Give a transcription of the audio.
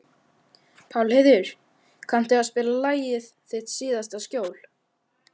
Pálheiður, kanntu að spila lagið „Þitt síðasta skjól“?